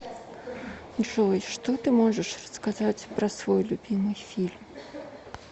джой что ты можешь рассказать про свой любимый фильм